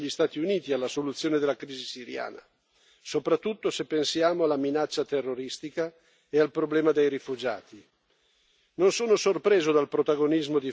Eppure l'Europa dovrebbe essere molto più interessata degli Stati Uniti alla soluzione della crisi siriana, soprattutto se pensiamo alla minaccia terroristica e al problema dei rifugiati.